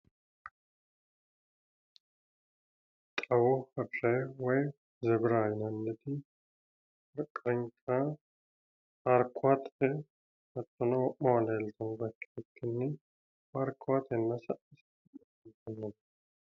xawu harre woy zebira yinanniti paarkuwate hattono wo'mawa leeltannote ikkite afantannote.